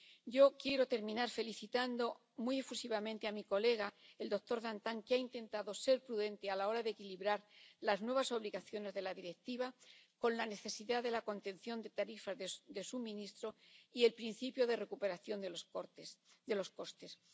Yo quiero terminar felicitando muy efusivamente a mi colega, el doctor Dantin, que ha intentado ser prudente a la hora de equilibrar las nuevas obligaciones de la Directiva con la necesidad de la contención de tarifas de suministro y el principio de recuperación de los costes.